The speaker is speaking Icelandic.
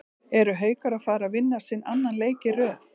ERU HAUKAR AÐ FARA AÐ VINNA SINN ANNAN LEIK Í RÖÐ???